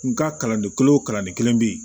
N ka kalanden kelen wo kalanden kelen bɛ yen